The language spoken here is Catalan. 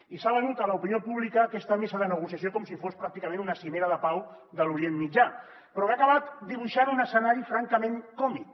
i s’ha venut a l’opinió pública aquesta mesa de negociació com si fos pràcticament una cimera de pau de l’orient mitjà però que ha acabat dibuixant un escenari francament còmic